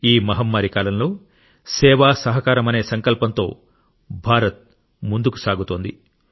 ఈ మహమ్మారి కాలంలో సేవ సహకారం అనే సంకల్పంతో భారత్ ముందుకు సాగుతోంది